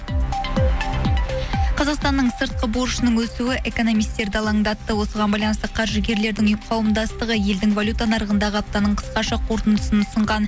қазақстанның сыртқы борышының өсуі экономистерді алаңдатты осыған байланысты қаржыгерлердің қауымдастығы елдің валюта нарығындағы аптаның қысқаша қортындысын ұсынған